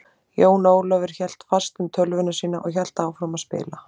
Jón Ólafur hélt fast um tölvuna sína og hélt áfram að spila.